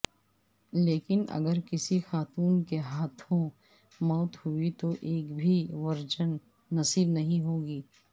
لیکن اگر کسی خاتون کے ہاتھوں موت ہوئی تو ایک بھی ورجن نصیب نہیں ہوگی